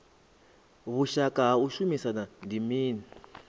vhushaka ha u shumisana ndi mini